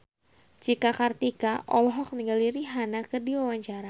Cika Kartika olohok ningali Rihanna keur diwawancara